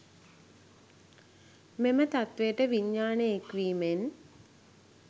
මෙම තත්ත්වයට විඤ්ඤාණය එක් වීමෙන්